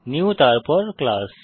new তারপর class